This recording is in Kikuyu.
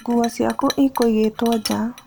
Nguo ciaku ikũigĩtwo nja.